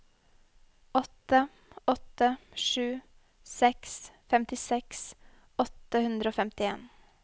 åtte åtte sju seks femtiseks åtte hundre og femtien